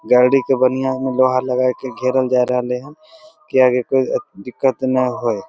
गाड़ी के बनिया में लोहा लगा के घरेल जा रहले हैन की कि कोई दिकत ना होए ।